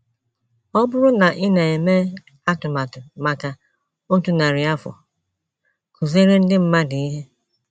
Ọ bụrụ na ị na - eme atụmatụ maka otu narị afọ, kụziere ndị mmadụ ihe. ”